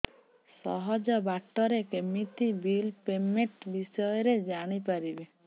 ସହଜ ବାଟ ରେ କେମିତି ବିଲ୍ ପେମେଣ୍ଟ ବିଷୟ ରେ ଜାଣି ପାରିବି